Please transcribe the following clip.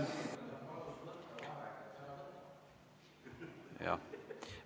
Jah.